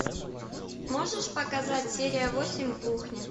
можешь показать серия восемь кухня